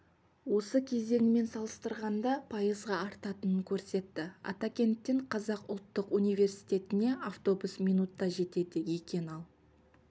осы кезеңімен салыстырғанда пайызға артатынын көрсетті атакенттен қазақ ұлттық университетіне автобус минутта жетеді екен ал